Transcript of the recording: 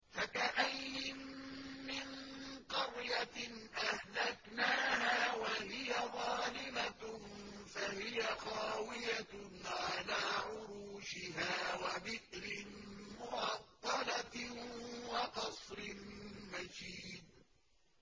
فَكَأَيِّن مِّن قَرْيَةٍ أَهْلَكْنَاهَا وَهِيَ ظَالِمَةٌ فَهِيَ خَاوِيَةٌ عَلَىٰ عُرُوشِهَا وَبِئْرٍ مُّعَطَّلَةٍ وَقَصْرٍ مَّشِيدٍ